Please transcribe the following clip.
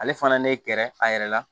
Ale fana ne kɛra a yɛrɛ la